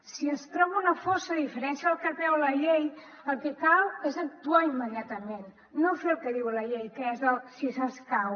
si es troba una fossa a diferència del que preveu la llei el que cal és actuar immediatament no fer el que diu la llei que és si s’escau